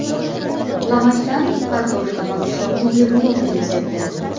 Lavashdan kartoshka va pishloqli yegulik retsepti.